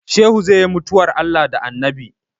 Shehu zai yi mutuwar Allah da Annabi